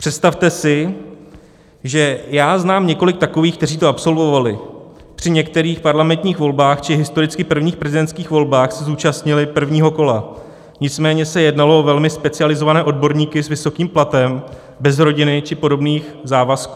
Představte si, že já znám několik takových, kteří to absolvovali, při některých parlamentních volbách či historicky prvních prezidentských volbách se zúčastnili prvního kola, nicméně se jednalo o velmi specializované odborníky s vysokým platem, bez rodiny či podobných závazků.